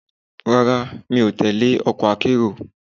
Rárá, mi ò tẹle ọkọ̀ akérò.